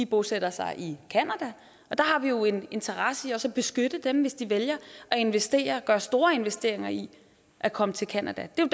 bosætter sig i canada og der har vi jo en interesse i også at beskytte dem hvis de vælger at investere gøre store investeringer i at komme til canada det er